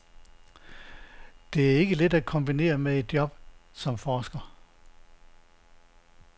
Det er ikke let at kombinere med et job som forsker.